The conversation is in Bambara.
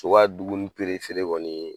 So ka dumuni kɔni ye